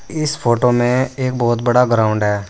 इस फोटो में एक बहोत बड़ा ग्राउंड है।